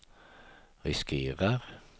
riskerar